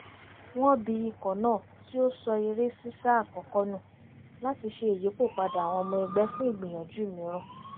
wọ́n bi ikọ̀ náà tí ó sọ eré sísá àkọ́kọ́ nù láti ṣe ìyípòpadà àwọn ọmọ ẹgbẹ́ fún ìgbìyànjú mìíràn